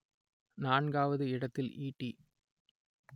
நான்காவது இடத்தில் ஈட்டி